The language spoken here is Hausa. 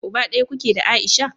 Uba daya kuke da Aisha?